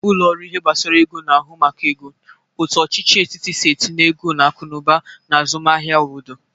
Ụlọ ọrụ ihe gbasara ego na-ahụ maka ego, otu ọchịchị etiti si etinye ego n'akụnụba na azụmahia obodo.